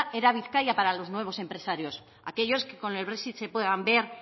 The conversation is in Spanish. era bizkaia para los nuevos empresarios aquellos que con el brexit se puedan ver